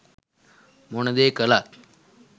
මොන දේ කළත්